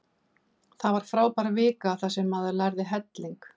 Það var frábær vika þar sem maður lærði helling.